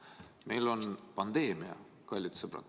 Meil on pandeemia, kallid sõbrad!